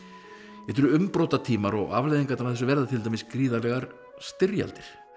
þetta eru umbótatímar og afleiðingarnar af þessu verða til dæmis gríðarlegar styrjaldir